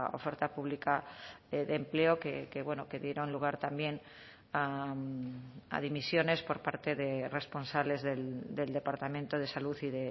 oferta pública de empleo que bueno que dieron lugar también a dimisiones por parte de responsables del departamento de salud y